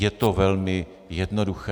Je to velmi jednoduché.